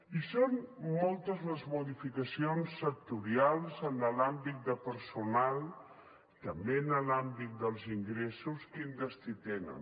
i són moltes les modificacions sectorials en l’àmbit de personal també en l’àmbit dels ingressos quin destí tenen